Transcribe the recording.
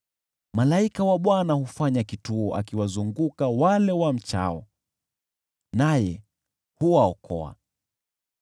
Malaika wa Bwana hufanya kituo akiwazunguka wale wamchao, naye huwaokoa.